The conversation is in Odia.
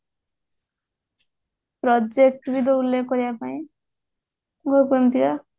project ବି ଦେଲେ କରିବାପାଇଁ